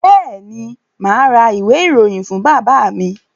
Bẹ́ẹ̀ ni, mà á ra ìwé-ìròyìn fún bàbá mi.